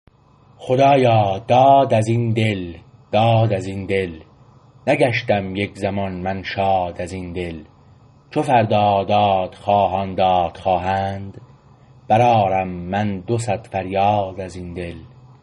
خدایا داد از این دل داد از این دل نگشتم یک زمان من شاد از این دل چو فردا داد خواهان داد خواهند بر آرم من دو صد فریاد از این دل